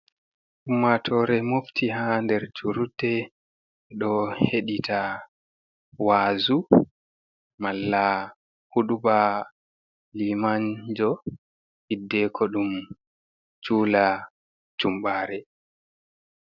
Ummaatoore mofti haa nder juulirde ɗo heɗita waazu malla huɗuba limanjo hiddeeko ɗum juula jumbaare.